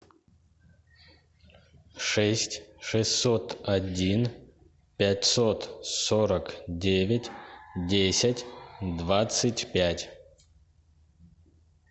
шесть шестьсот один пятьсот сорок девять десять двадцать пять